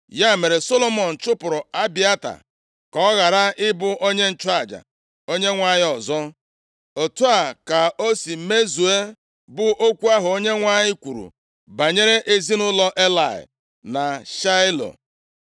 Ya mere, Solomọn chụpụrụ Abịata + 2:27 Ọ bụ naanị Abịata gbapụrụ mgbe a na-egbu ndị ezinaụlọ Elayị. \+xt 1Sa 22:17-20\+xt* ka ọ ghara ịbụ onye nchụaja Onyenwe anyị ọzọ. Otu a ka o si mezuo + 2:27 \+xt 1Sa 2:27-36\+xt* bụ okwu ahụ Onyenwe anyị kwuru banyere ezinaụlọ Elayị na Shaịlo.